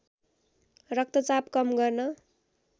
रक्तचाप कम गर्न